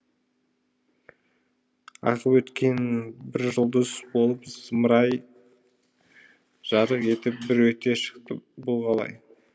ағып өткен бір жұлдыз болып зымыра ай жарық етіп бір өте шықты бұл қалай